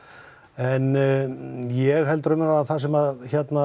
en ég held raunverulega að það sem